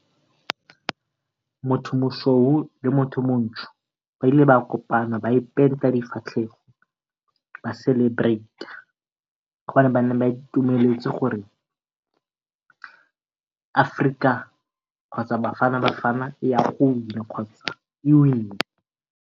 Motho mosweu le motho montsho ba ile ba kopana ba ipenta difatlhego ba celebrate-a, go bane ba itumeletse gore Aforika kgotsa Bafana Bafana e ya go win-a kgotsa e win-ne.